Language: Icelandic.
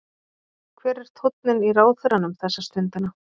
Hver er tónninn í ráðherranum þessa stundina?